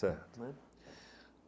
Certo.